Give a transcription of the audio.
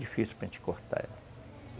Difícil para gente cortar ela.